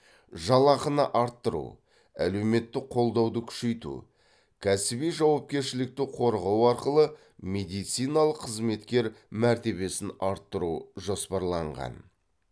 жалақыны арттыру әлеуметтік қолдауды күшейту кәсіби жауапкершілікті қорғау арқылы медициналық қызметкер мәртебесін арттыру жоспарланған